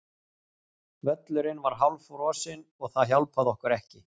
Völlurinn var hálffrosinn og það hjálpaði okkur ekki.